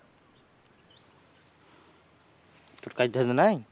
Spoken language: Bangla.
তোর কাজ টাজ নাই?